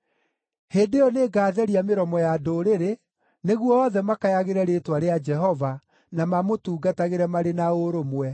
“Hĩndĩ ĩyo nĩngatheria mĩromo ya ndũrĩrĩ, nĩguo othe makayagĩre rĩĩtwa rĩa Jehova, na mamũtungatagĩre marĩ na ũrũmwe.